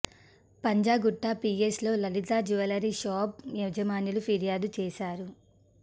Panjagutta PS లో Lalitha jewellers shop యజమానులు ఫిర్యాదు చేశారు